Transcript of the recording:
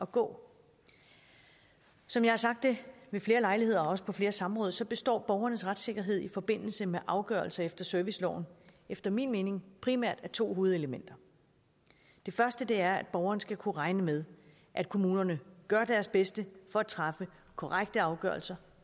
gå som jeg har sagt ved flere lejligheder og også på flere samråd består borgernes retssikkerhed i forbindelse med afgørelser efter serviceloven efter min mening primært af to hovedelementer det første er at borgerne skal kunne regne med at kommunerne gør deres bedste for at træffe korrekte afgørelser